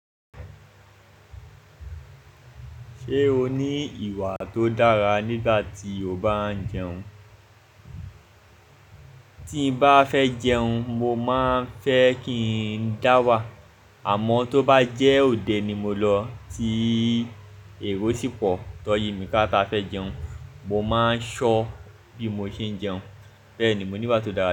Ṣé o ní ìwà tó dára nígbà tí o bá ń jẹun? Tí mo bá fẹ́ jẹun, mo máa fẹ́ kí n dáwà, àmọ́ tó bá jẹ́ òde ni mo lọ ti èrò sí pọ̀ tan yi mí ká ta fẹ́ jẹun, mo máa ṣọ́ bí mo ṣe ń jẹun. Bẹ́ẹ̀ ni mo ní ìbá tó dára.